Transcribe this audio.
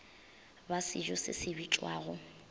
ba sejo se se bitšwago